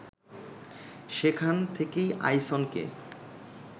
সেখান থেকেই আইসনকে